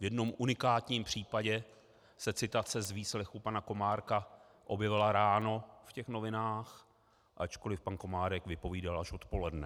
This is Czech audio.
V jednom unikátním případě se citace z výslechu pana Komárka objevila ráno v těch novinách, ačkoliv pan Komárek vypovídal až odpoledne.